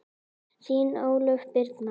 Þín Ólöf Birna.